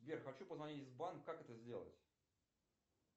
сбер хочу позвонить в банк как это сделать